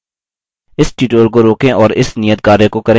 इस tutorial को रोकें और इस नियतकार्य को करें